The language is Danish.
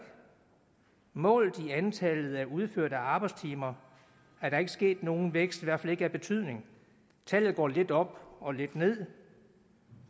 målt i antallet af udførte arbejdstimer er der ikke sket nogen vækst i hvert fald ikke af betydning tallet går lidt op og lidt ned